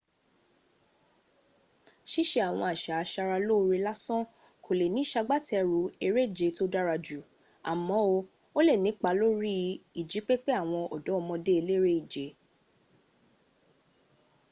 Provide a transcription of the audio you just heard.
síse àwọn àsà asarelóore lásán kò le ní sagbẹ́tẹrù eréje tó dára jù àmọ́ ó lè nípa lórí ìjípépé àwọn ọ̀dọ́mọdé eléré-ìje